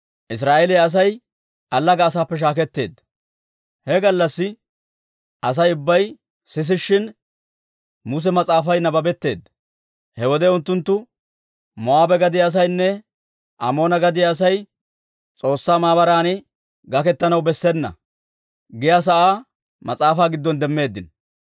He gallassi Asay ubbay sisishshin, Muse Mas'aafay nabbabetteedda; he wode unttunttu, «Moo'aabe gadiyaa asaynne Amoona gadiyaa Asay S'oossaa maabaran gaketanaw bessena» giyaa sa'aa mas'aafaa giddon demmeeddino.